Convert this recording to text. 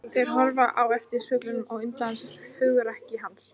Þeir horfa á eftir fuglinum og undrast hugrekki hans.